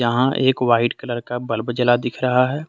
यहां एक white colour का बल्ब जला दिख रहा है।